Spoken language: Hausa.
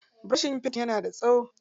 Burushin yin fenti na da tsawo.